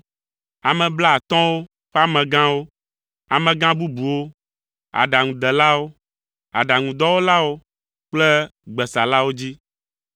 ame blaatɔ̃wo: ƒe amegãwo, amegã bubuwo, aɖaŋudelawo, aɖaŋudɔwɔlawo kple gbesalawo dzi.